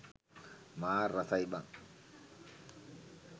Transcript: මාර රසයි බං